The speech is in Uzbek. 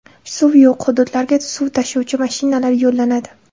Suv yo‘q hududlarga suv tashuvchi mashinalar yo‘llanadi.